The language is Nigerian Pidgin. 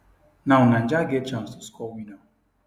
now niger get chance to score winner